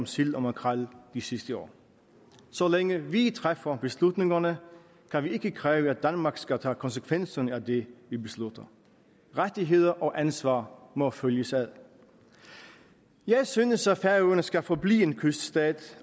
sild og makrel de sidste år så længe vi træffer beslutningerne kan vi ikke kræve at danmark skal tage konsekvenserne af det vi beslutter rettigheder og ansvar må følges ad jeg synes at færøerne skal forblive en kyststat